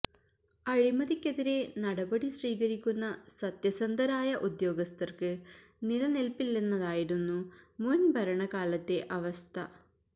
അഴിമതിക്കെതിരെ നടപടി സ്വീകരിക്കുന്ന സത്യസന്ധരായ ഉദ്യോഗസ്ഥര്ക്ക് നിലനില്പില്ലെന്നതായിരുന്നു മുന്ഭരണ കാലത്തെ അവസ്ഥ